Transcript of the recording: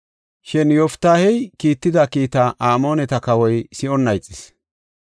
Shin Yoftaahey kiitida kiitaa Amooneta kawoy si7onna ixis.